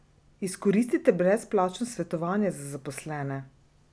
Izkoristite brezplačno svetovanje za zaposlene!